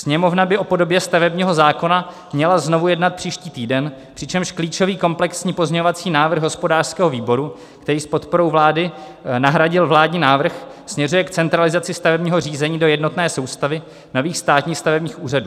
Sněmovna by o podobě stavebního zákona měla znovu jednat příští týden, přičemž klíčový komplexní pozměňovací návrh hospodářského výboru, který s podporou vlády nahradil vládní návrh, směřuje k centralizaci stavebního řízení do jednotné soustavy nových státních stavebních úřadů.